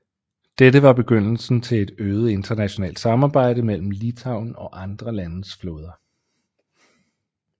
Dette var begyndelsen til et øget internationalt samarbejde mellem Litauen og andre landes flåder